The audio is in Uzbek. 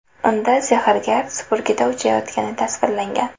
Unda sehrgar supurgida uchayotgani tasvirlangan.